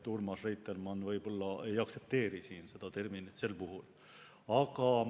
Urmas Reitelmann võib-olla ei aktsepteeri minu terminit sel puhul.